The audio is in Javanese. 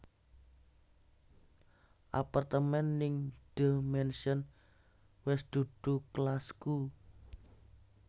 Apartemen ning The Mansion wes dudu kelasku